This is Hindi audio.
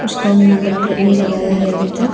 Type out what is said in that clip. उसका नंबर प्लेट नहीं लगाया हैं अभी तक।